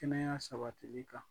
Kɛnɛya sabatili kan